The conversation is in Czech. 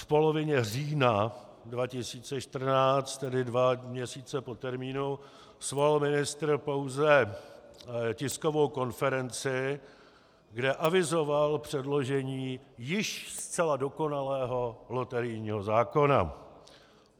V polovině října 2014, tedy dva měsíce po termínu, svolal ministr pouze tiskovou konferenci, kde avizoval předložení již zcela dokonalého loterijního zákona.